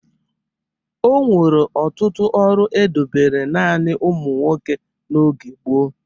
O nwere ọtụtụ ọrụ e dobere naanị ụmụ nwoke n'oge gboo.